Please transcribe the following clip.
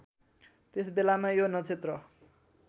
त्यसबेलामा यो नक्षत्र